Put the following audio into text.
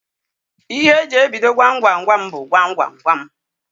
Ihe eji ebido Gwam Gwam Gwam bụ "Gwam Gwam Gwam"